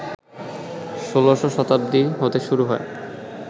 ১৬শ শতাব্দী হতে শুরু হয়